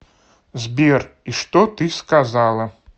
сбер и что ты сказала